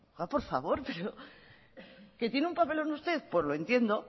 por favor pero que tiene un papel usted pues lo entiendo